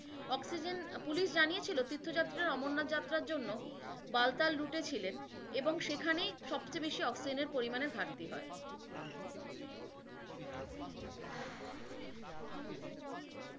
Oxygen আহ police জানিয়েছিল তীর্থযাত্রার অমরনাথ যাত্রার জন্য বাতাল রুটে ছিলেন, এবং সেখানে সবচেয়ে বেশি অক্সিজেনের ঘাটতি ছিল।